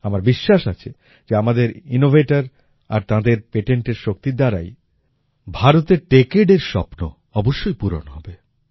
আমার বিশ্বাস আছে যে আমাদের ইনোভেটর আর তাঁদের পেটেণ্টের শক্তির দ্বারাই ভারতের Techadeএর স্বপ্ন অবশ্যই পূরণ হবে